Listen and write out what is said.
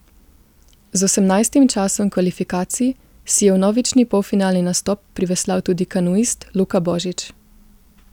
Z osemnajstim časom kvalifikacij si je vnovični polfinalni nastop priveslal tudi kanuist Luka Božič.